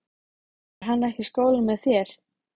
Er hann ekki í skólanum með þér?